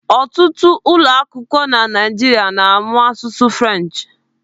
Ọtụtụ ụlọakwụkwọ na Naịjirịa na-amụ asụsụ French.